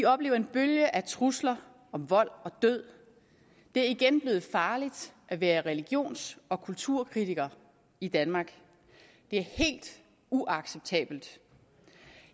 oplever en bølge af trusler om vold og død det er igen blevet farligt at være religions og kulturkritiker i danmark det er helt uacceptabelt